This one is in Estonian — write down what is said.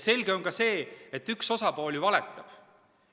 Selge on ka see, et üks osapool valetab.